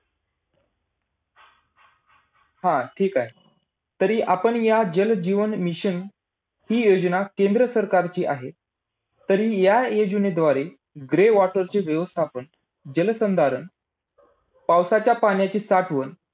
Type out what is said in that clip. अनुभट्टी साठी जड पाण्याचे heavy bottle दहशत मोठ्या गत प्रमाणावर उत्पन्न व संशोधन करण्यासाठी